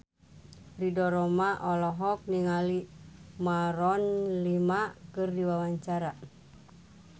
Ridho Roma olohok ningali Maroon 5 keur diwawancara